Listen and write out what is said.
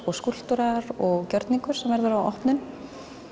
og skúlptúrar og gjörningur sem verður á opnun